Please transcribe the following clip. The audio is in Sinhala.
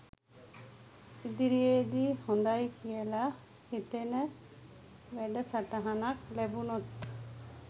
ඉදිරියේදී හොඳයි කියලා හිතෙන වැඩසටහනක් ලැබුණොත්